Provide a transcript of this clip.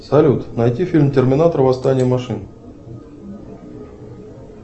салют найти фильм терминатор восстание машин